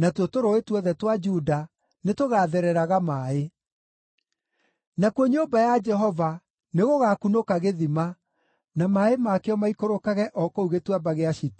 natuo tũrũũĩ tuothe twa Juda nĩtũgathereraga maaĩ. Nakuo nyũmba ya Jehova nĩgũgakunũka gĩthima, na maaĩ makĩo maikũrũkage o kũu Gĩtuamba gĩa Shitimu.